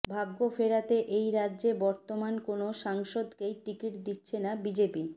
ভাগ্য ফেরাতে এই রাজ্যে বর্তমান কোনো সাংসদকেই টিকিট দিচ্ছে না বিজেপি